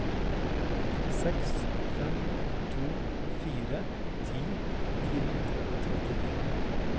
seks fem to fire ti ni hundre og trettien